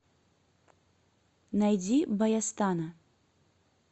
найди баястана